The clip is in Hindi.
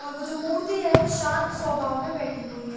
और वो जो मूर्ति है वो शांत स्वभाव में बैठी हुई है।